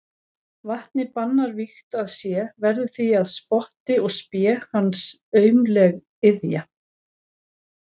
Vatnið bannar vígt að sé, verður því að spotti og spé hans aumleg iðja.